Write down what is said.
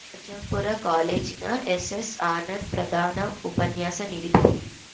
ಅಜ್ಜಂಪುರ ಕಾಲೇಜಿನ ಎಸ್‌ಎನ್‌ ಆನಂದ್‌ ಪ್ರಧಾನ ಉಪನ್ಯಾಸ ನೀಡಿದರು